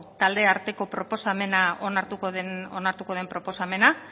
taldearteko proposamena onartuko den proposamena